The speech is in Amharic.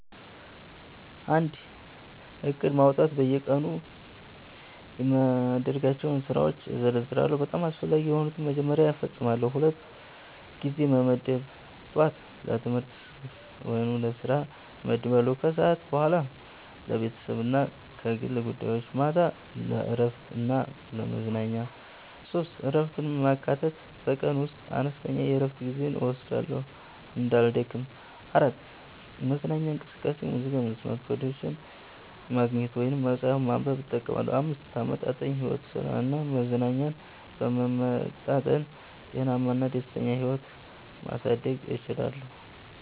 1. ዕቅድ ማውጣት በየቀኑ የማደርጋቸውን ስራዎች እዘርዝራለሁ፤ በጣም አስፈላጊ የሆኑትን በመጀመሪያ እፈጽማለሁ። 2. ጊዜ መመደብ ጠዋት ለትምህርት/ስራ እመድባለሁ ከሰዓት በኋላ ለቤተሰብ እና ለግል ጉዳዮች ማታ ለእረፍት እና ለመዝናኛ 3. እረፍትን ማካተት በቀን ውስጥ አነስተኛ የእረፍት ጊዜ እወስዳለሁ እንዳልደክም። 4. መዝናኛ እንቅስቃሴ ሙዚቃ መስማት፣ ጓደኞችን ማግኘት ወይም መጽሐፍ ማንበብ እጠቀማለሁ። 5. ተመጣጣኝ ሕይወት ሥራ እና መዝናኛን በመመጣጠን ጤናማ እና ደስተኛ ሕይወት ማሳደግ እችላለሁ።